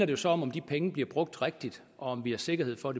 jo så om om de penge bliver brugt rigtigt og om vi har sikkerhed for